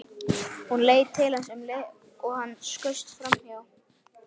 Hún leit til hans um leið og hann skaust framhjá.